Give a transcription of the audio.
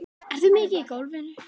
Ertu mikið í golfinu?